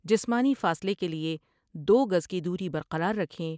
جسمانی فاصلے کے لئے دوگز کی دوری برقرار رکھیں ۔